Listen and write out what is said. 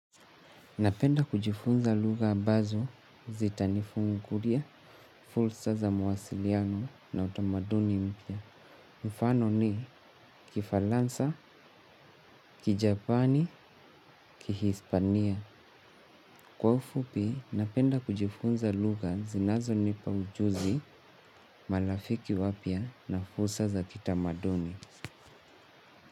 Napenda kujifunza lugha ambazo zitanifungulia, fursa za mawasiliano na utamaduni mpya. Mfano ni kifaransa, kijapani, kihispania. Kwa ufupi, napenda kujifunza lugha zinazonipa ujuzi, marafiki wapya na fursa za kitamaduni.